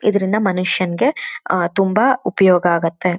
ಇದ್ದರಿಂದ ಮನುಷ್ಯನಿಗೆ ಆ ತುಂಬಾ ಉಪಯೋಗ ಆಗುತ್ತೆ.